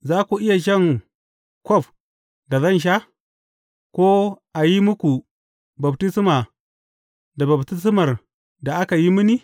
Za ku iya shan kwaf da zan sha, ko a yi muku baftisma da baftismar da aka yi mini?